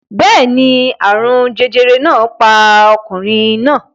Bẹ́ẹ̀ ni, àrùn jẹjẹrẹ náà pa ọkùnrin náà